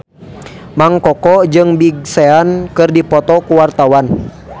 Mang Koko jeung Big Sean keur dipoto ku wartawan